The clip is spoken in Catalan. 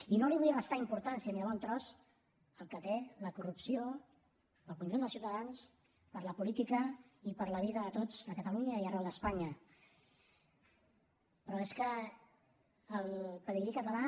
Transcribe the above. i no li vull restar importància ni de bon tros al que té la corrupció per al conjunt dels ciutadans per a la política i per a la vida de tots a catalunya i arreu d’espanya però és que el pedigrí català